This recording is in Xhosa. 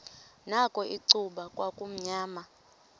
nakho icuba kwakumnyama